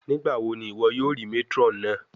Nigbawo ni iwọ yoo rii matron naa?